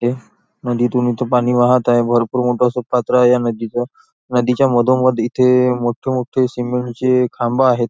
हे नदीतून इथे पाणी वाहत आहे भरपूर मोठ अस पात्र आहे ह्या नदीच नदीच्या मधोमध इथे मोठे मोठे सीमेंट चे खांब आहेत.